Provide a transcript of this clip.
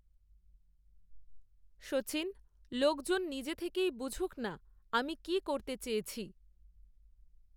সচিন, লোকজন নিজে থেকেই বুঝূক না, আমি কি করতে চেয়েছি